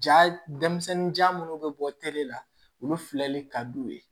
Ja denmisɛnninja munnu bɛ bɔ la olu filɛli ka d'u ye